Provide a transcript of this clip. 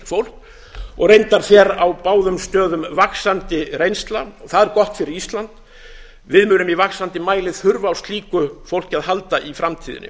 fólk og reyndar fer á báðum stöðum vaxandi reynsla það er gott fyrir ísland við munum í vaxandi mæli þurfa á slíku fólki að halda í framtíðinni